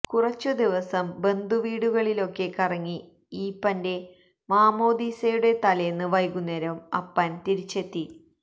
കുറച്ചുദിവസം ബന്ധുവീടുകളിലൊക്കെ കറങ്ങി ഈപ്പന്റെ മാമ്മോദീസയുടെ തലേന്ന് വൈകുന്നേരം അപ്പൻ തിരിച്ചെത്തി